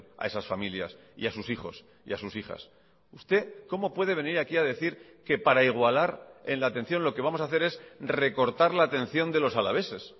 a esas familias y a sus hijos y a sus hijas usted cómo puede venir aquí a decir que para igualar en la atención lo que vamos a hacer es recortar la atención de los alaveses